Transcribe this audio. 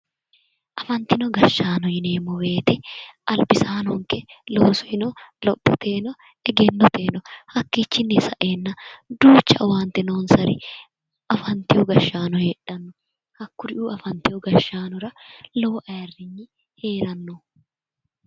Afantino gashshaano yineemmo woyite albisaanonke loosohono lophoteyino egennoteyino hakkichinni sa'eenna duucha owaante noonsari afantiwo gashshaano heedhanno. Hakkuriuu afantiwo gashshaanora lowo ayirinyi heeranno.